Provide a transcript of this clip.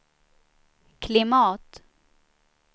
klimat